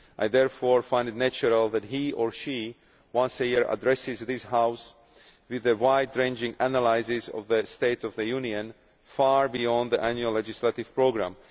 I therefore find it natural that he or she once a year addresses this House with a wide ranging analysis of the State of the Union far beyond the annual legislative programme.